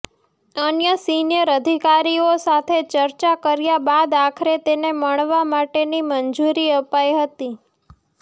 અન્ય સીનિયર અધિકારીઓ સાથે ચર્ચા કર્યા બાદ આખરે તેને મળવા માટેની મંજૂરી અપાઈ હતી